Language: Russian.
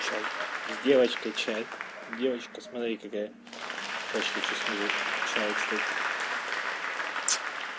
чай с девочкой чай девочка смотри какая чашечка чуть снизу в чае кстати